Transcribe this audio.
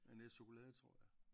Med en æske chokolade tror jeg